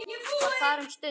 Var þar um stund.